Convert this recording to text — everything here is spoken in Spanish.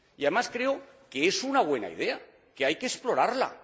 Y, además, creo que es una buena idea, que hay que explorarla.